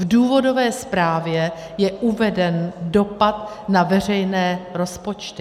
V důvodové zprávě je uveden dopad na veřejné rozpočty.